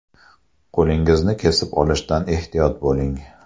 Qo‘lingizni kesib olishdan ehtiyot bo‘ling!